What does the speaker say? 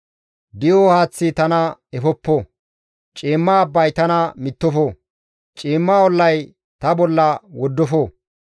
Di7o haaththi tana efoppo; ciimma abbay tana mittofo; ciimma ollay ta bolla woddofo.